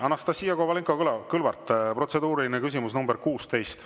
Anastassia Kovalenko-Kõlvart, protseduuriline küsimus nr 16.